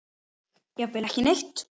Jafnvel ekki neitt.